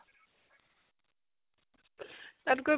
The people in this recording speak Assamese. তাত কৈ